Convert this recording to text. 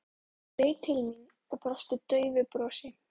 Hún leit til mín og brosti daufu brosi.